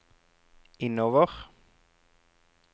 innover